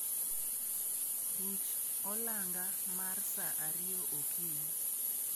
Ruch olanga mar sa ariyo okinyi